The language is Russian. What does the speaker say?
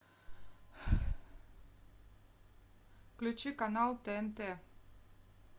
включи канал тнт